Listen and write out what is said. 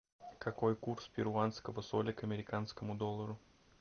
какой курс перуанского соля к американскому доллару